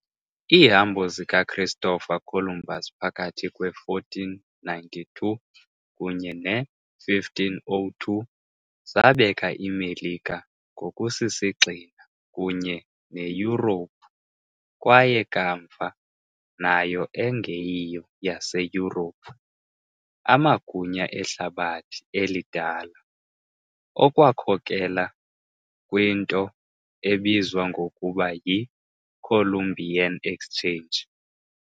Iihambo zikaChristopher Columbus phakathi kwe -1492 kunye ne-1502 zabeka iMelika ngokusisigxina kunye neYurophu, kwaye kamva, nayo engeyiyo yaseYurophu, amagunya eHlabathi eliDala, okwakhokelela kwinto ebizwa ngokuba yi " Columbian Exchange ".